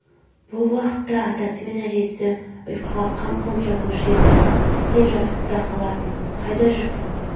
бұл уақытта атасы мен әжесі ұйқыға қам қылып жатушы еді тіптен жатып та қалатын қайда жүрсің